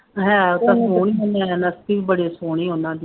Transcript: ਹੈ ਤਾਂ ਸੋਹਣੀਆਂ ਨੇ, ਨੈਣ ਨਕਸ਼ ਵੀ ਬੜੇ ਸੋਹਣੇ ਉਹਨਾ ਦੇ